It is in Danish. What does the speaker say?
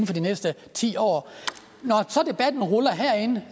for de næste ti år når så debatten ruller herinde